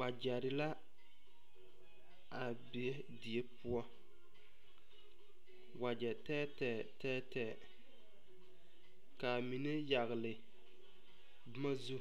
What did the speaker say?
Wagyere la a be die poʊ. Wagye teɛteɛ, teɛteɛ. Ka a mene yagle boma zu,